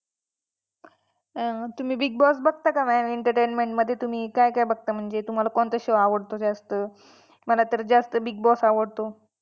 अं तुम्ही Big Boss बघता का mam entertainment मध्ये तुम्ही काय काय बघता म्हणजे तुम्हाला कोणता show आवडतो जास्त? मला तर जास्त Big Boss आवडतो.